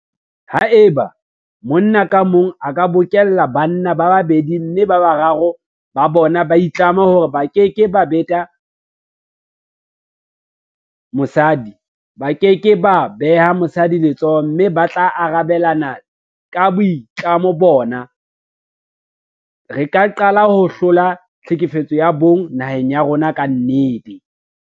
Haeba monna ka mong a ka bokella banna ba babedi mme boraro ba bona ba itlama hore ba keke ba beta mosadi, ba ke ke ba beha mosadi letsoho mme ba tla arabelana ka boitlamo bona, re ka qala ho hlola tlhekefetso ya bong naheng ya rona ka nnete.